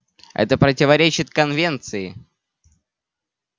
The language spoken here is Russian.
это противоречит конвенции